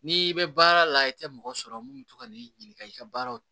N'i bɛ baara la i tɛ mɔgɔ sɔrɔ mun bɛ to ka n'i ɲininka i ka baaraw